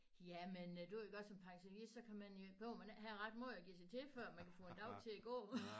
Jamen øh du ved godt som pensionist så kan man gå jo men ikke have ret meget at give sig til før man kan få en dag til at gå